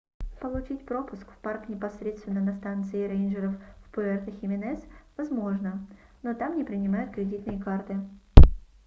получить пропуск в парк непосредственно на станции рейнджеров в пуэрто-хименес возможно но там не принимают кредитные карты